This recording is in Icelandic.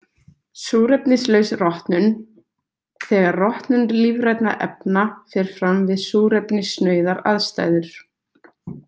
Súrefnislaus rotnun Þegar rotnun lífrænna efna fer fram við súrefnissnauðar aðstæður.